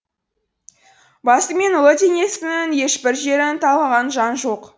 басы мен ұлы денесінің ешбір жерін талғаған жан жоқ